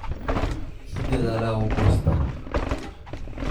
Kii dadaala wuu goostaa.